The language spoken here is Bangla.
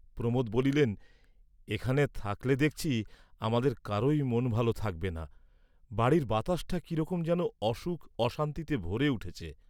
প্রমোদ বলিলেন, "এখানে থাকলে দেখছি আমাদের কারোই মন ভাল থাকবে না, বাড়ির বাতাসটা কিরকম যেন অসুখ অশান্তিতে ভরে উঠেছে।"